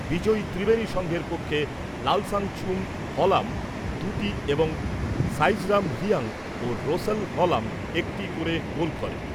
বিজয়ী ত্রিবেনী সংঘের পক্ষে লালসাং চুং হলাম দু'টি এবং সাইজরাম রিয়াং ও রোসেল হলাম একটি করে গোল করে ।